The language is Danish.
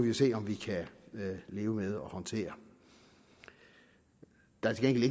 jo se om vi kan leve med og håndtere der er til